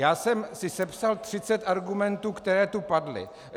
Já jsem si sepsal 30 argumentů, které tu padly.